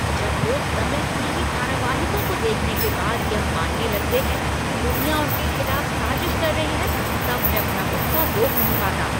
जब लोग तमिल टीवी धारावाहिकों को देखने के बाद यह मानने लगते हैं कि दुनिया उनके खिलाफ साजिश कर रही है तब मैं अपना गुस्सा रोक नहीं पाता।